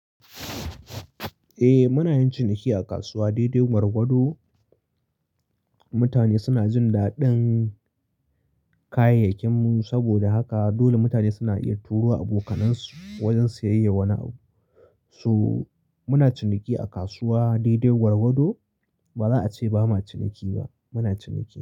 Eh muna yin ciniki a kasuwa, daidai gwargwado. Mutane suna jin daɗin kayayyakinmu saboda haka dole mutane suna iya turo abokanansu wajen siyayyan wani abu. So muna ciniki a kasuwa daidai gwargwado ba za a ce bama ciniki ba, muna ciniki.